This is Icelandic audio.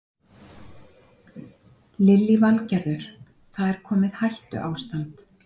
Lillý Valgerður: Það er komið hættuástand?